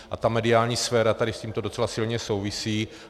A ta mediální sféra tady s tímto docela silně souvisí.